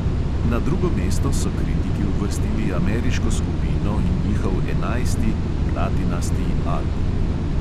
Na drugo mesto so kritiki uvrstili ameriško skupino in njihov enajsti album.